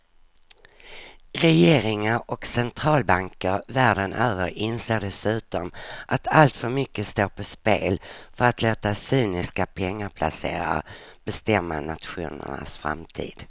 Regeringar och centralbanker världen över inser dessutom att alltför mycket står på spel för att låta cyniska pengaplacerare bestämma nationernas framtid.